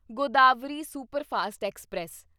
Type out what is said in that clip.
Godavari superfast express